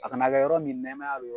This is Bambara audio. A kana ka yɔrɔ min nɛmaya bɛ yɔrɔ min na.